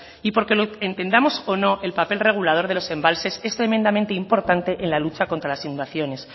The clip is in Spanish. y porque lo entendamos o no el papel regulador de los embalses en tremendamente importante en la lucha contra las inundaciones